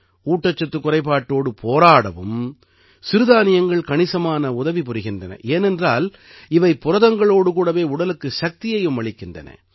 ஊட்டச்சத்துக் குறைபாட்டோடு போராடவும் சிறுதானியங்கள் கணிசமான உதவி புரிகின்றன ஏனென்றால் இவை புரதங்களோடு கூடவே உடலுக்கு சக்தியையும் அளிக்கின்றன